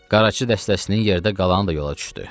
Qaraçı dəstəsinin yerdə qalanı da yola düşdü.